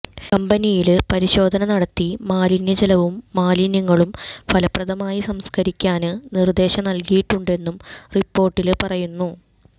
കമ്പനിയില് പരിശോധന നടത്തി മലിനജലവും മാലിന്യങ്ങളും ഫലപ്രദമായി സംസ്കരിക്കാന് നിര്ദ്ദേശം നല്കിയിട്ടുണ്ടെന്നും റിപ്പോര്ട്ടില് പറയുന്നു